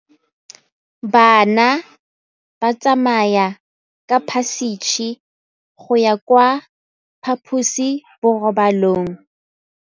Bana ba tsamaya ka phašitshe go ya kwa phaposiborobalong.